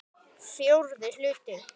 Fjórði hluti